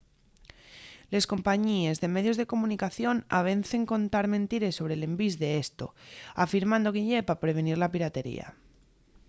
les compañíes de medios de comunicación avecen contar mentires sobre l’envís d’esto afirmando que ye pa prevenir la piratería